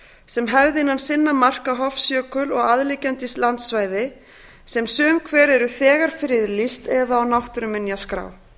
sem hefði innan sinna marka hofsjökul og aðliggjandi landsvæði sem sum hver eru þegar friðlýst eða á náttúruminjaskrá